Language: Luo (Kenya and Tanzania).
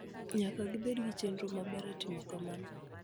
Nyaka gibed gi chenro maber e timo kamano.